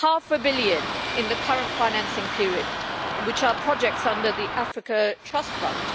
Half a billion in the current financing period for projects under the Africa Trust Fund.